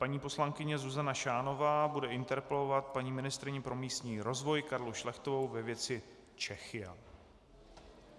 Paní poslankyně Zuzana Šánová bude interpelovat paní ministryni pro místní rozvoj Karlu Šlechtovou ve věci Czechia.